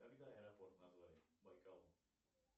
когда аэропорт назвали байкал